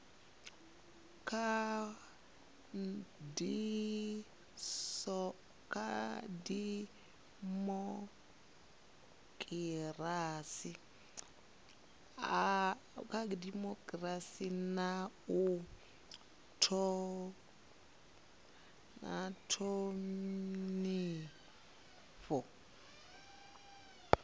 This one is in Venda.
kha dimokirasi na u thonifha